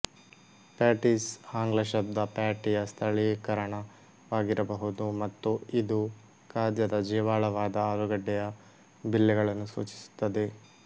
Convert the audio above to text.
patties ಆಂಗ್ಲ ಶಬ್ದ ಪ್ಯಾಟಿಯ ಸ್ಥಳೀಕರಣವಾಗಿರಬಹುದು ಮತ್ತು ಇದು ಈ ಖಾದ್ಯದ ಜೀವಾಳವಾದ ಆಲೂಗಡ್ಡೆಯ ಬಿಲ್ಲೆಗಳನ್ನು ಸೂಚಿಸುತ್ತದೆ